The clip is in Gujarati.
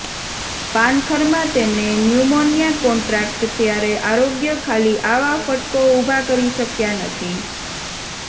પાનખર માં તેમણે ન્યુમોનિયા કોન્ટ્રાક્ટ ત્યારે આરોગ્ય ખાલી આવા ફટકો ઊભા કરી શક્યા નથી